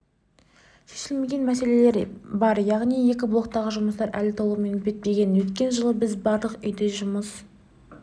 шешілмеген мәселелер бар яғни екі блоктағы жұмыстар әлі толығымен бітпеген өткен жылы біз барлық үйде жұмыс